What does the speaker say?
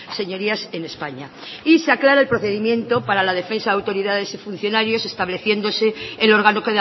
señorías en españa y se aclara el procedimiento para la defensa de autoridades y funcionarios estableciéndose el órgano